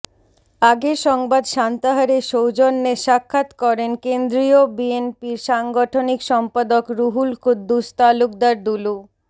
আগের সংবাদ সান্তাহারে সৌজন্যে স্বাক্ষাত করেন কেন্দ্রীয় বিএনপির সাংগঠনিক সম্পাদক রুহুল কুদ্দুস তালুকদার দুলু